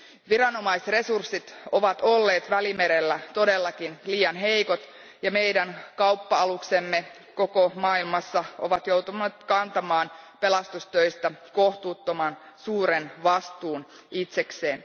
Viranomaisresurssit ovat olleet Välimerellä todellakin liian heikot, ja meidän kauppa aluksemme koko maailmassa ovat joutuneet kantamaan pelastustöistä kohtuuttoman suuren vastuun itsekseen.